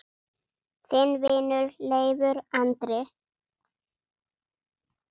Þinn vinur, Leifur Andri.